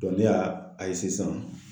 ne y'a a ye sisan